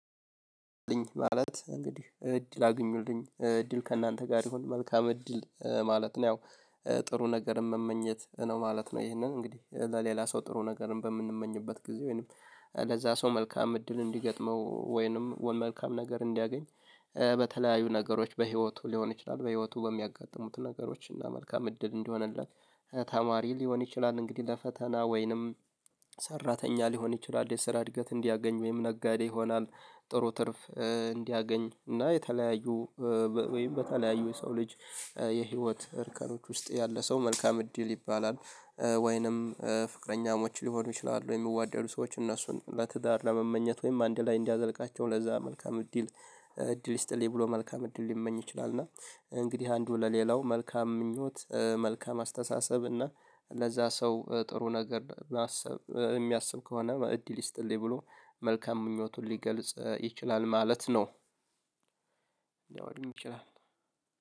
ማለት እንግዲህ እድል አግኙልኝ እድል ከእናንተ ጋር ይሁን መልካም እድል ማለት ነው ያው ጥሩ ነገር መመኘት ነው ማለት ነው። ይህንን እንግዲህ ለሌላ ሰው ጥሩ ነገርን በምንመኝበት ጊዜ ወይንም ለዛ ሰው መልካም እድል እንዲገጥመው ወይንም ወ መልካም ነገር እንዲያገኝ በተለያዩ ነገሮች በህይወቱ ሊሆን ይችላል በህይወቱ በሚያጋጥሙት ነገሮች እና መልካም እድል እንዲሆንለት ተማሪ ሊሆን ይችላል። እንግዲህ ለፈተና ወይንም ሰራተኛ ሊሆን ይችላል የስራ እድገት እንዲያገኝ ወይም ነጋዴ ይሆናል ጥሩ ትርፍ እንዲያገኝ እና የተለያዩ ወይም በተለያዩ የሰው ልጅ የህይወት እርከኖች ውስጥ ያለ ሰው መልካም እድል ይባላል። ወይንም ፍቅረኛሞች ሊሆኑ ይችላሉ የሚዋደዱ ሰዎች እነሱን ለትዳር ለመመኘት ወይም አንድ ላይ እንዲያዘልቃቸው ለዛ መልካም እድል እድል ይስጥልኝ ብሎ መልካም እድል ሊመኝ ይችላል። እና እንግዲህ አንዱ ለሌላው መልካም ምኞት መልካም አስተሳሰብ እና ለዛ ሰው ጥሩ ነገር ማሰብ የሚያስብ ከሆነ እድል ይስጥልኝ ብሎ መልካም ምኞቱን ሊገልጽ ይችላል ማለት ነው። ላዮንም ይችላል